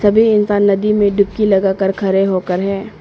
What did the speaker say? सभी इंसान नदी में डुबकी लगाकर खड़े होकर है।